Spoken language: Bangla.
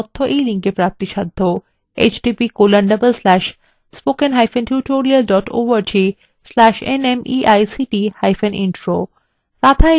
এই বিষয় বিস্তারিত তথ্য এই লিঙ্কএ প্রাপ্তিসাধ্য